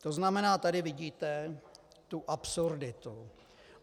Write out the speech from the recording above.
To znamená, tady vidíte tu absurditu.